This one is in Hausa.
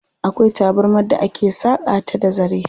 Akwai tabarmar da ake saƙa ta da zare.